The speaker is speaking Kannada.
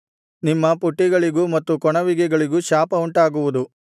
ನಿಮ್ಮ ಪುಟ್ಟಿಗಳಿಗೂ ಮತ್ತು ಕೊಣವಿಗೆಗಳಿಗೂ ಶಾಪ ಉಂಟಾಗುವುದು